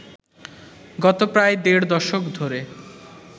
গত প্রায় দেড় দশক ধরে